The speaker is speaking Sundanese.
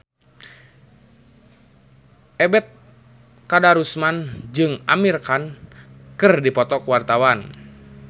Ebet Kadarusman jeung Amir Khan keur dipoto ku wartawan